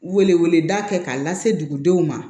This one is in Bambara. Wele weleda kɛ k'a lase dugudenw ma